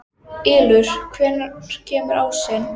Ylur, hvenær kemur ásinn?